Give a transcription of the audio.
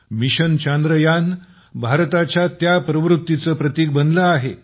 mission Chandrayaan भारताच्या त्या प्रवृत्तीचं प्रतीक बनलं आहे